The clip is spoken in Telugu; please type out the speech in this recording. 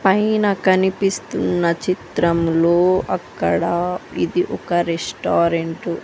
పైన కనిపిస్తున్న చిత్రంలో అక్కడ ఇది ఒక రెస్టారెంటు .